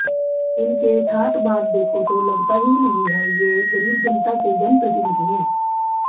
इनके ठाठ बांट देखों तो लगता ही नहीं है ये गरीब जनता के जनप्रतिनिधि है